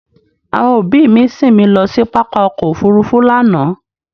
Àwọn ọbí mi sín mi lọ sí pápá ọkọ̀ òfurufú lánàá